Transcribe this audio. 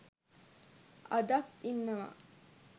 අදක් ඉන්නවා